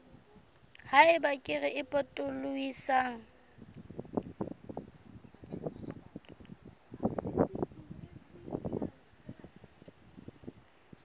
ha eba kere e potolohisang